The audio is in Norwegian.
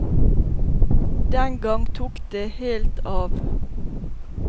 Den gang tok det helt av.